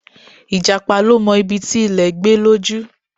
Ìjàpá ló mọ ibi ti ilè gbé lójú